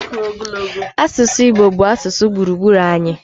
Asụsụ Igbo bụ asụsụ gburugburu anyị.